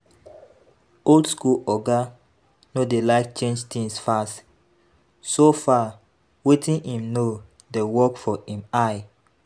Old school oga no sey like change things fast, so far wetin im know dey work for im eye